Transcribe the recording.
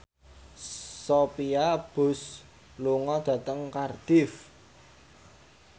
Sophia Bush lunga dhateng Cardiff